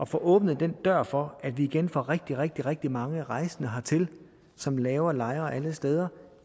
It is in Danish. få åbnet den dør for at vi igen får rigtig rigtig rigtig mange rejsende hertil som laver lejre alle steder